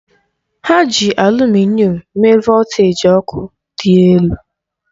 Ha ji alumịnịọn mee voltaji ọkụ dị elu.